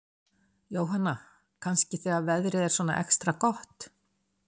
Jóhanna: Kannski þegar veðrið er svona extra gott?